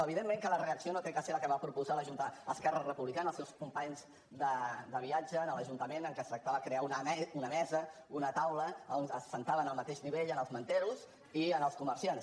evidentment que la reacció no ha de ser la que va proposar esquerra republicana els seus companys de viatge en l’ajuntament que es tractava de crear una mesa una taula a on s’asseien al mateix nivell els manters i els comerciants